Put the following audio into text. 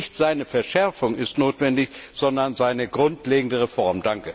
Nicht seine Verschärfung ist notwendig, sondern seine grundlegende Reform.